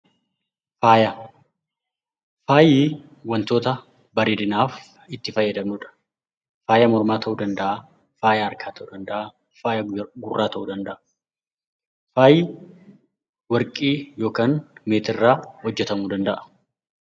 Faayi wantoota bareedinaaf itti fayyadamnudha. Faaya mormaa, harkaa, gurraa ta'uu danda'a. Faayi warqii yookiin meetii irraa hojjetamuu danda'a.